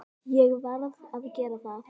Ég varð að gera það.